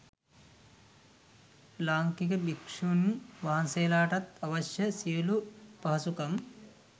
ලාංකික භික්ෂුණින් වහන්සේලාටත් අවශ්‍ය සියලුම පහසුකම්